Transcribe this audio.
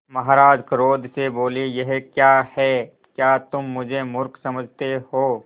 महाराज क्रोध से बोले यह क्या है क्या तुम मुझे मुर्ख समझते हो